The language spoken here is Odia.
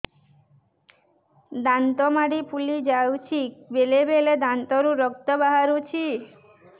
ଦାନ୍ତ ମାଢ଼ି ଫୁଲି ଯାଉଛି ବେଳେବେଳେ ଦାନ୍ତରୁ ରକ୍ତ ବାହାରୁଛି